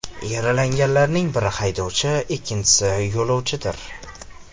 Yaralanganlarning biri haydovchi, ikkinchisi yo‘lovchidir.